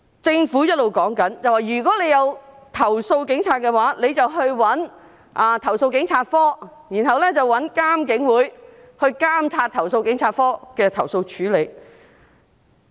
政府一直表示，如果想投訴警察，可以去投訴警察課，然後找獨立監察警方處理投訴委員會來監察投訴警察課對投訴的處理。